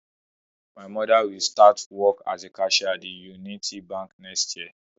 My Mother will start work as a cashier at the Unity bank next year